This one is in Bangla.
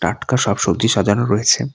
টাটকা শাকসবজি সাজানো রয়েছে।